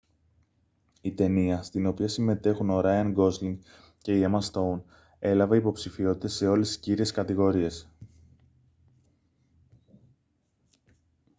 η ταινία στην οποία συμμετέχουν ο ράιαν γκόσλινγκ και η έμα στόουν έλαβε υποψηφιότητες σε όλες τις κύριες κατηγορίες